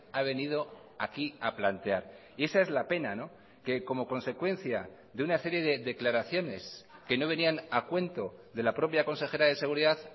ha venido aquí a plantear y esa es la pena que como consecuencia de una serie de declaraciones que no venían a cuento de la propia consejera de seguridad